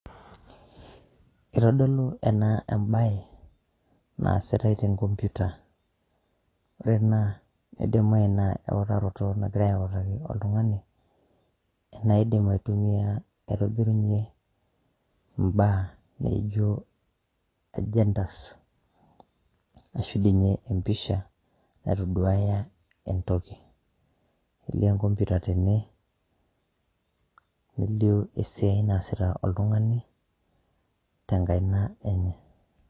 Kitodolu ena ebae, naasitai tenkompita. Ore naa, idimayu naa euraroto nagirai autaki oltung'ani, enaidim aitumia aitobirunye mbaa nijo agendas ,ashu dinye empisha, naitoduaya entoki. Elio enkompita tene, nelio esiai naasita oltung'ani, tenkaina enye.